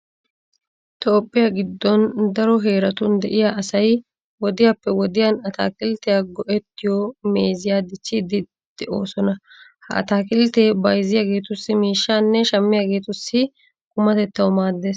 Toophphiya giddon daro heeratun de'iya asay wodiyappe wodiyan ataakilttiya go"ettiyo meeziya dichchiiddi de'oosona. Ha ataakilttee bayzziyageetussi miishshaanne shammiyageetussi qumatettawu maaddees.